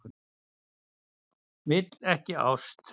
Vill ekki ást.